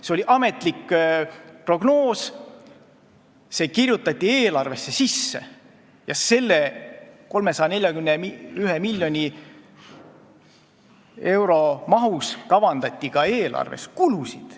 See oli ametlik prognoos, see kirjutati eelarvesse sisse ja 341 miljoni euro eest kavandati eelarvesse ka kulusid.